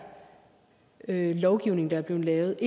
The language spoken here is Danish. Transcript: lovgivning der er blevet lavet